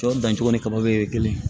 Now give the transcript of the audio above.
Sɔ dancogo ni kabaw bɛɛ ye kelen ye